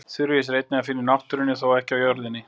Þurrís er einnig að finna í náttúrunni, þó ekki á jörðinni.